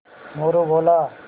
मोरू बोला